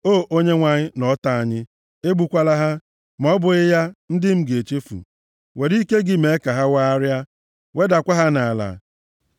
O Onyenwe anyị na ọta anyị, egbukwala ha, ma ọ bụghị ya, ndị m ga-echefu. Were ike gị mee ka ha wagharịa, + 59:11 Were ike gị hopu ha wedakwaa ha nʼala.